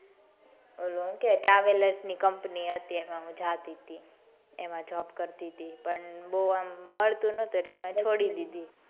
travellers ની company હતી એમાં હું જતી હતી એમ job કરતી હતી પણ બૌ આમ મળતું નટુ એટલે છોડી દીધું.